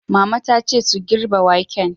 Mama ta ce su "girbe waken"!